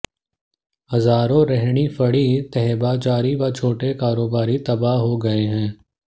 हजारों रेहड़ी फड़ी तहबाजारी व छोटे कारोबारी तबाह हो गए हैं